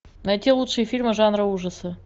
найти лучшие фильмы жанра ужасы